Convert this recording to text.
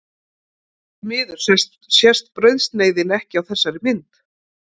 Því miður sést brauðsneiðin ekki á þessari mynd.